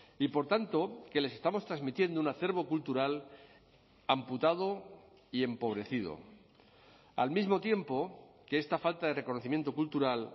y por tanto que les estamos transmitiendo un acervo cultural amputado y empobrecido al mismo tiempo que esta falta de reconocimiento cultural